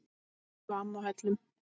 Afi og amma á Hellum.